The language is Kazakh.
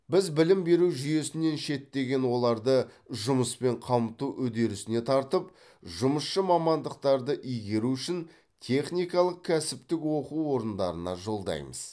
біз білім беру жүйесінен шеттеген оларды жұмыспен қамту үдерісіне тартып жұмысшы мамандықтарды игеру үшін техникалық кәсіптік оқу орындарына жолдаймыз